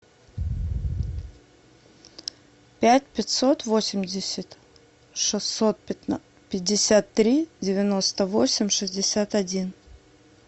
пять пятьсот восемьдесят шестьсот пятьдесят три девяносто восемь шестьдесят один